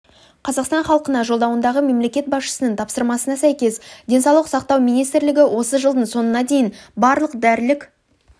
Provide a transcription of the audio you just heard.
қазақстан халқына жолдауындағы мемлекет басшысының тапсырмасына сәйкес денсаулық сақтау министрлігі осы жылдың соңына дейін барлық дәрілік